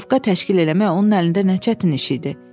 Putyovka təşkil eləmək onun əlində nə çətin iş idi.